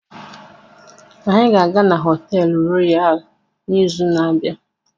Anyị ga-aga họteelu Royal n'izu na-abịa.